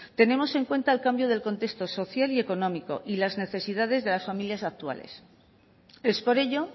tenemos en cuenta el cambio del contexto social y económico y las necesidades de las familias actuales es por ello